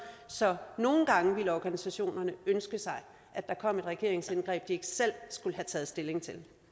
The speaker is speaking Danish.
så nogle gange ville organisationerne ønske sig at der kom et regeringsindgreb de ikke selv skulle have taget stilling